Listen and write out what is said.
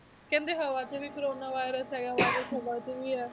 ਕਹਿੰਦੇ ਹਵਾ 'ਚ ਵੀ ਕੋਰੋਨਾ virus ਹੈਗਾ ਵਾ ਹਵਾ 'ਚ ਵੀ ਹੈ,